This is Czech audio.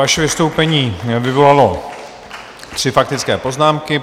Vaše vystoupení vyvolalo tři faktické poznámky.